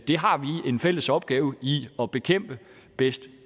vi har en fælles opgave i at bekæmpe bedst